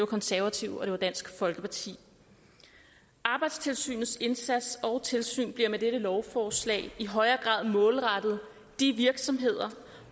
konservative og det var dansk folkeparti arbejdstilsynets indsats og tilsyn bliver med dette lovforslag i højere grad målrettet de virksomheder